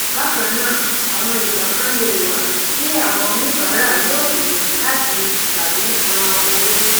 bákannáà àwọn ìgbà kan lè wà tí àwọn oníbàárà yóò kùnà láti tàbí san owó